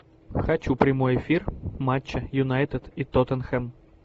хочу прямой эфир матча юнайтед и тоттенхэм